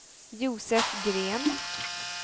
Josef Green